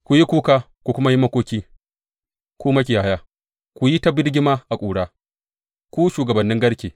Ku yi kuka ku kuma yi makoki, ku makiyaya; ku yi ta birgima a ƙura, ku shugabannin garke.